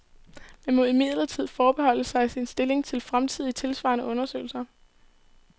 Man må imidlertid forbeholde sig sin stilling til fremtidige tilsvarende undersøgelser.